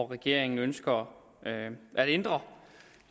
regeringen ønsker at ændre